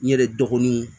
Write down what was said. N yɛrɛ dɔgɔninw